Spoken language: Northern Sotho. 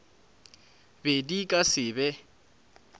be di ka se be